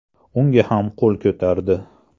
Unga ham qo‘l ko‘tardi.